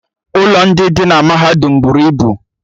ụlọ ndị dị na mahadum buru ibu